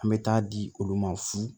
An bɛ taa di olu ma fu